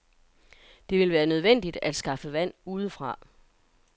Det vil være nødvendigt at skaffe vand udefra.